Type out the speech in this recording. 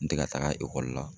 N tɛ ka taaga la